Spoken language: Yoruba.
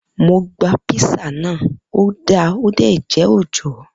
Mo gba písà na, ọ da ọ dé jẹ́ òòjọ́.